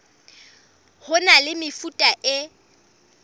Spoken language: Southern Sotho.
ho na le mefuta e